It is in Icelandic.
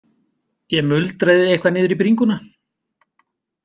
Ég muldraði eitthvað niður í bringuna.